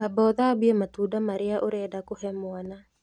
Amba ũthambie matunda marĩa ũrenda kũhe mwana